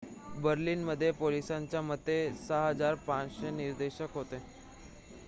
बर्लिनमध्ये पोलिसांच्या मते 6,500 निदर्शक होते